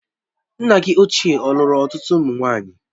Nna gị ochie ọ̀lùru ọtụtụ ụmụ nwaanyị?